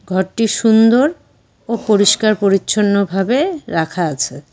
ঘরটি সুন্দর ও পরিষ্কার পরিচ্ছন্ন ভাবে রাখা আছে।